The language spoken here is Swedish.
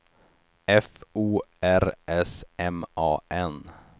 F O R S M A N